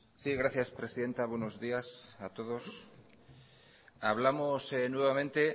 sí gracias presidenta buenos días a todos hablamos nuevamente